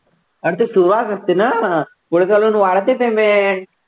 अरे ती सुरुवात असते ना पुढे तर अजून वाढते ते main